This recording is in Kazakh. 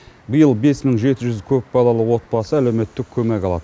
биыл бес мың жеті жүз көпбалалы отбасы әлеуметтік көмек алады